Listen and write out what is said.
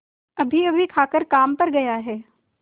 अभीअभी खाकर काम पर गया है